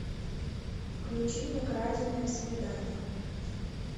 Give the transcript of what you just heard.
включи мне краденое свидание